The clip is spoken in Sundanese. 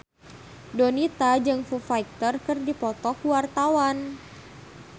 Donita jeung Foo Fighter keur dipoto ku wartawan